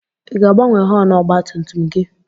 I ga-agbanwe họọnụ ọgba tum tum gị?